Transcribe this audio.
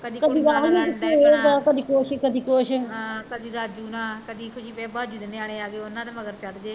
ਕਦੀ ਕੁੜੀਆ ਨਾਲ਼ ਲੜਨ ਡਹਿ ਪੈਣਾ ਹਾਂ ਕਦੀ ਰਾਜੂ ਨਾਲ਼ ਕਦੀ ਫਿਰ ਫਿਰ ਬਜੂ ਦੇ ਨਿਆਣੇ ਆ ਜਾਣ ਉਹਨੇ ਦੇ ਮਗਰ ਚੜ੍ਜੇ